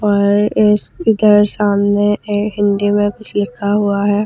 पर इस इधर सामने एक हिन्दी मे कुछ लिखा हुआ है औ--